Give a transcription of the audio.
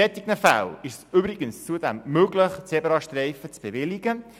In solchen Fällen ist es übrigens zudem möglich, Zebrastreifen zu bewilligen.